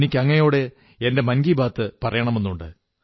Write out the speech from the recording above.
എനിക്ക് അങ്ങയോട് എന്റെ മൻകീ ബാത് പറയണമെന്നുണ്ട്